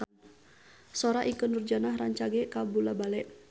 Sora Ikke Nurjanah rancage kabula-bale